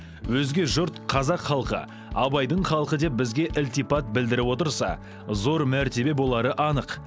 өзге жұрт қазақ халқы абайдың халқы деп бізге ілтипат білдіріп отырса зор мәртебе болары анық